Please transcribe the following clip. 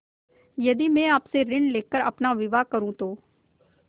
यदि मैं आपसे ऋण ले कर अपना विवाह करुँ तो